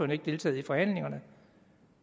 ikke deltaget i forhandlingerne